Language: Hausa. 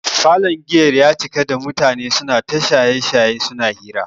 Falon giyar ya cika da mutane suna ta shaye-shaye suna hira.